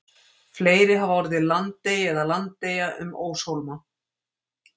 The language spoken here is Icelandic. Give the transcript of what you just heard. fleiri hafa orðið landey eða landeyja um óshólma